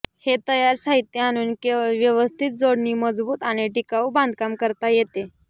हे तयार साहित्य आणून केवळ व्यवस्थित जोडणी मजबूत आणि टिकाऊ बांधकाम करता येते